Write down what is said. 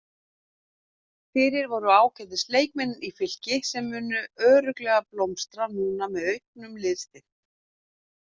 Fyrir voru ágætis leikmenn í Fylki sem munu örugglega blómstra núna með auknum liðsstyrk.